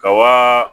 Ka wa